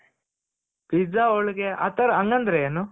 pizza ಹೋಳಿಗೆ ಆ ತರ ಹಂಗಂದ್ರೇನು?